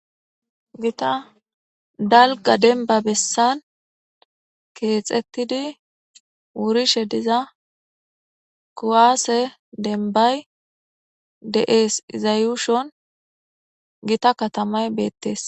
Gitta daligga demibba bessani kexetidi wurishe dizayi kuwase demibbayi deyesi iya yushoni gitta katamayi betesi